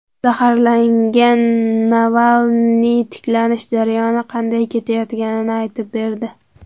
Zaharlangan Navalniy tiklanish jarayoni qanday ketayotganini aytib berdi.